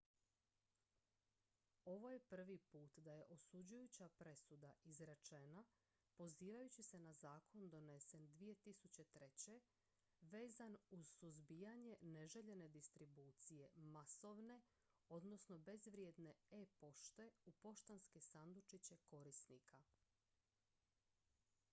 ovo je prvi put da je osuđujuća presuda izrečena pozivajući se na zakon donesen 2003. vezan uz suzbijanje neželjene distribucije masovne odnosno bezvrijedne e-pošte u poštanske sandučiće korisnika